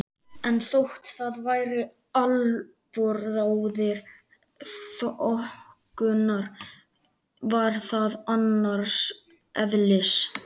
En þótt það væri albróðir þokunnar var það annars eðlis.